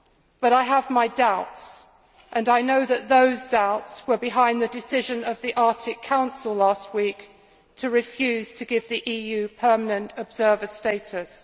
But I have my doubts, and I know that those doubts were behind the decision of the Arctic Council last week to refuse to give the EU permanent observer status.